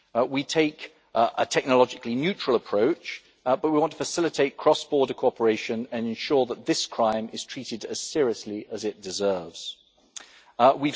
We take a technologically neutral approach, but we want to facilitate cross border cooperation and ensure that this crime is treated as seriously as it deserves to be.